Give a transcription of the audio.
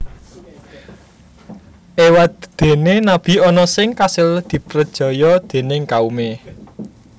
Éwadéné nabi ana sing kasil diprejaya déning kaumé